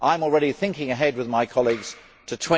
I am already thinking ahead with my colleagues to